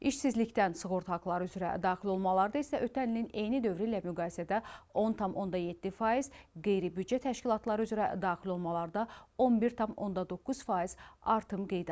İşsizlikdən sığorta haqları üzrə daxil olmalarda isə ötən ilin eyni dövrü ilə müqayisədə 10,7%, qeyri-büdcə təşkilatları üzrə daxil olmalarda 11,9% artım qeydə alınıb.